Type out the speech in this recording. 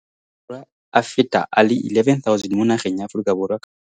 Aforika Borwa a feta a le 11 000 mo nageng ya Aforika Borwa ka nosi.